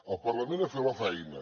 el parlament ha fet la feina